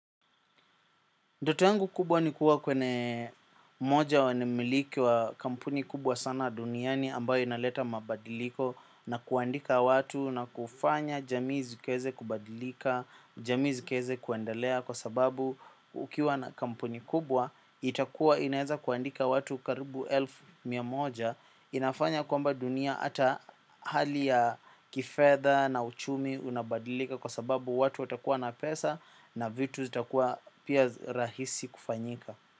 Ndoto yangu kubwa nikuwa kwenye moja wanamiliki wa kampuni kubwa sana duniani ambayo inaleta mabadiliko na kuandika watu na kufanya jamii zikaweze kubadilika, jamii zikaweze kuendalea kwa sababu ukiwa na kampuni kubwa itakuwa inaweza kuandika watu karibu elfu mia moja. Inafanya kwamba dunia ata hali ya kifedha na uchumi unabadilika. Kwa sababu watu watakuwa na pesa na vitu zitakuwa pia rahisi kufanyika.